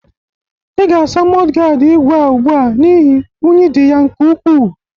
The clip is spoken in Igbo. I ga-asa mọdgaad igwe a ugbu a n'ihi unyi dị ya nke ukwu.